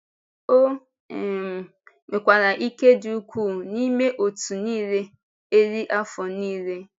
O um nwekwara ike dị ukwuu n’ime òtù niile eri afọ niile.